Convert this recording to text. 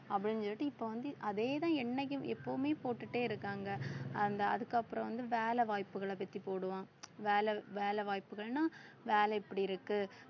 அப்படினு சொல்லிட்டு இப்ப வந்து அதேதான் என்னைக்கும் எப்பவுமே போட்டுட்டே இருக்காங்க அந்த அதுக்கப்புறம் வந்து வேல வாய்ப்புகளை பத்தி போடுவான் வேலை வேலை வாய்ப்புகள்ன்னா வேலை இப்படி இருக்கு